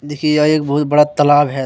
देखिए यह एक बहुत बड़ा तालाब है।